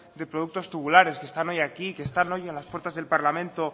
de productos tubulares que están hoy aquí que están hoy en las puertas del parlamento